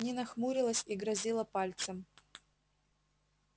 нина хмурилась и грозила пальцем